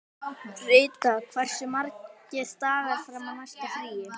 Rita, hversu margir dagar fram að næsta fríi?